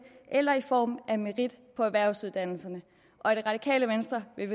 eller i form af merit på erhvervsuddannelserne og i det radikale venstre vil